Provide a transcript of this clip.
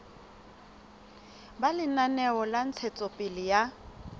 ba lenaneo la ntshetsopele ya